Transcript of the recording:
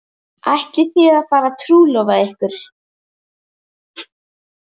Ætlið þið að fara að trúlofa ykkur?